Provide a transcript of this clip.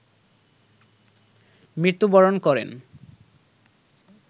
মৃত্যুবরণ করেন